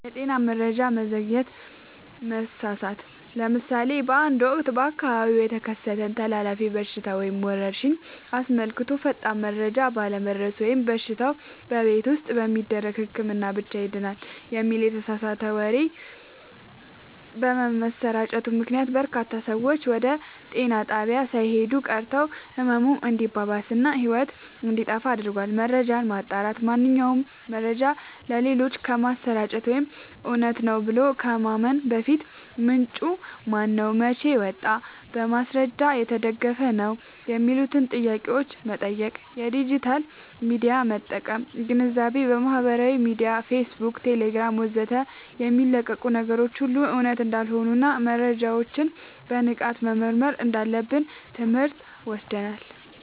የጤና መረጃ መዘግየት/መሳሳት፦ ለምሳሌ በአንድ ወቅት በአካባቢው የተከሰተን ተላላፊ በሽታ ወይም ወረርሽኝ አስመልክቶ ፈጣን መረጃ ባለመድረሱ ወይም በሽታው "በቤት ውስጥ በሚደረግ ህክምና ብቻ ይድናል" የሚል የተሳሳተ ወሬ በመሰራጨቱ ምክንያት፣ በርካታ ሰዎች ወደ ጤና ጣቢያ ሳይሄዱ ቀርተው ህመሙ እንዲባባስ እና ህይወት እንዲጠፋ አድርጓል። መረጃን ማጣራት፦ ማንኛውንም መረጃ ለሌሎች ከማሰራጨት ወይም እውነት ነው ብሎ ከማመን በፊት፣ "ምንጩ ማነው? መቼ ወጣ? በማስረጃ የተደገፈ ነው?" የሚሉትን ጥያቄዎች መጠየቅ። የዲጂታል ሚዲያ አጠቃቀም ግንዛቤ፦ በማህበራዊ ሚዲያ (ፌስቡክ፣ ቴሌግራም ወዘተ) የሚለቀቁ ነገሮች ሁሉ እውነት እንዳልሆኑና መረጃዎችን በንቃት መመርመር እንዳለብን ትምህርት ወስደናል።